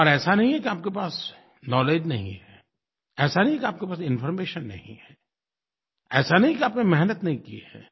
और ऐसा नहीं है कि आप के पास नाउलेज नहीं है ऐसा नहीं है कि आप के पास इन्फॉर्मेशन नहीं है ऐसा नहीं है कि आपने मेहनत नहीं की है